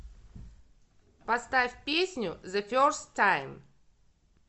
поставь песню зэ ферст тайм